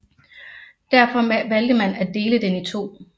Derfor valgte man at dele den i to